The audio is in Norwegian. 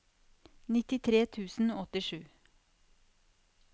nittitre tusen og åttisju